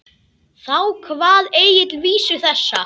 Þá kvað Egill vísu þessa: